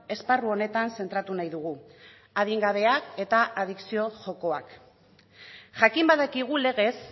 esparru honetan zentratu nahi dugu adingabeak eta adikzio jokoak jakin badakigu legez